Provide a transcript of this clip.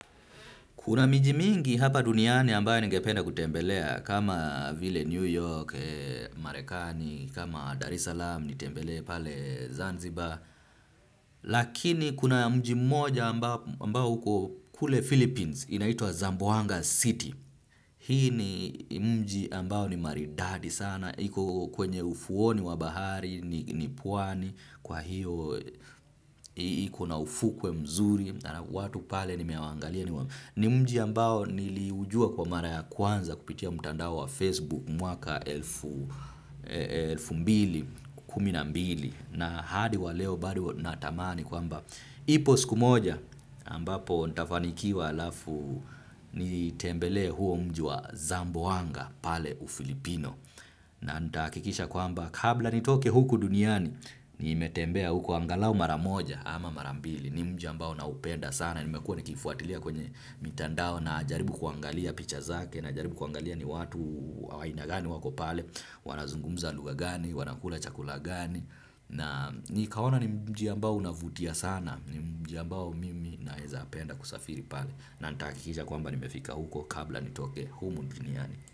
Kuna miji mingi hapa duniani ambayo ningependa kutembelea, kama Ville New York, Marekani, kama Dar es Salaam, nitembelee pale Zanzibar. Lakini kuna mji mmoja ambao uko kule Philippines, inaitwa Zamboanga City. Hii ni mji ambayo ni maridadi sana, iko kwenye ufuoni wa bahari, ni pwani, kwa hiyo iko na ufukwe mzuri. Na watu pale nimewaangalia ni mji ambao niliujua kwa mara ya kwanza kupitia mtandao wa Facebook mwaka elfu mbili kumi na mbili na hadi wa leo bado natamani kwamba ipo siku moja ambapo nitafanikiwa alafu nitembele huo mji wa zamboanga pale uFilipino. Na nitahakikisha kwamba kabla nitoke huku duniani. Nimetembea huku angalau mara moja ama mara mbili. Ni mji ambao naupenda sana. Nimekuwa nikifuatilia kwenye mitandao. Najaribu kuangalia picha zake. Najaribu kuangalia ni watu wa aina gani wako pale. Wanazungumza lugha gani, wanakula chakula gani. Na nikaona ni mji ambao unavutia sana. Ni mji ambao mimi naeza penda kusafiri pale. Na nitahakikisha kwamba nimefika huku kabla nitoke humu duniani.